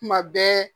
Kuma bɛɛ